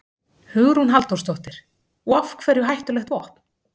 Hugrún Halldórsdóttir: Og af hverju hættulegt vopn?